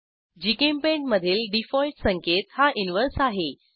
GChemPaint मधील default संकेत हा इनव्हर्स उलटा आहे